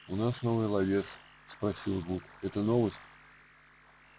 у вас новый ловец спросил вуд это новость